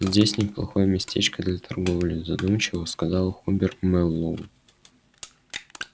здесь неплохое местечко для торговли задумчиво сказал хобер мэллоу